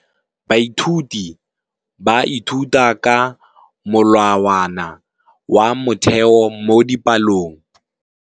Baithuti ba ithuta ka molawana wa motheo mo dipalong.